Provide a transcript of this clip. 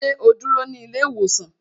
Sẹ́ ó dúró sí ilé ìwòsàn?